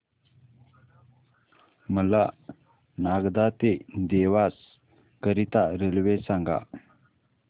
मला नागदा ते देवास करीता रेल्वे सांगा